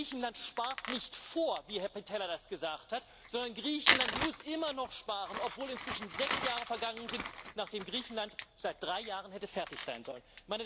Griechenland spart nicht vor, wie Herr Pittella das gesagt hat, sondern Griechenland muss immer noch sparen, obwohl inzwischen sechs Jahre vergangen sind, nachdem Griechenland seit drei Jahren hätte fertig sein sollen.